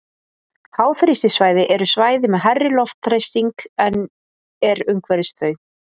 Háþrýstisvæði eru svæði með hærri loftþrýsting en er umhverfis þau.